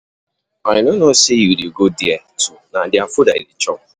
I no know say you dey go there too, na their food I dey chop.